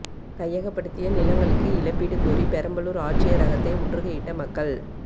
கையகப்படுத்திய நிலங்களுக்கு இழப்பீடு கோரி பெரம்பலூா் ஆட்சியரகத்தை முற்றுகையிட்ட மக்கள்